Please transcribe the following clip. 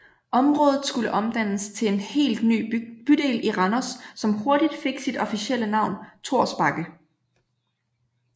Området skulle omdannes til en helt ny bydel i Randers som hurtigt fik sit officielle navn Thors Bakke